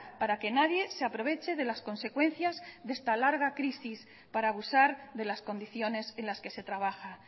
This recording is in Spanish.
para que nadie se aproveche de las consecuencias de esta larga crisis para abusar de las condiciones en las que se trabaja